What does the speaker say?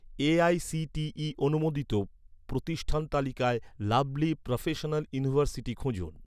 AICTE অনুমোদিত, প্রতিষ্ঠান তালিকায় লাভলী প্রফেশনাল ইউনিভার্সিটি খুঁজুন